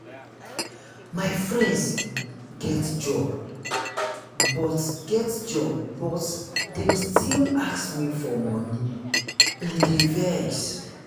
my friends get job but get job but dem dey still ask me for moni e dey vex.